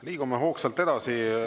Liigume hoogsalt edasi.